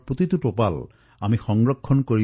এটা এটা টোপাল বচাব লাগিব